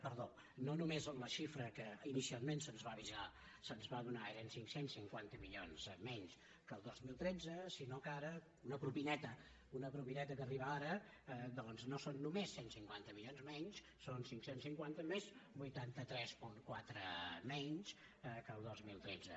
perdó no només la xifra que inicialment se’ns va avisar que se’ns va donar eren cinc cents i cinquanta milions menys que el dos mil tretze sinó que ara una propineta una propineta que arriba ara doncs no són només cent i cinquanta milions menys són cinc cents i cinquanta més vuitanta tres coma quatre menys que el dos mil tretze